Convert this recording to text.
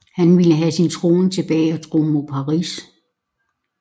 Han ville have sin trone tilbage og drog mod Paris